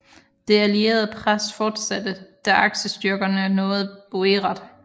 Det allierede pres fortsatte da aksestyrkerne nåede Buerat